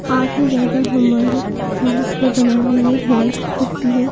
काफी ज्यादा हमारे सेहत को बनाने में हेल्फ करती है।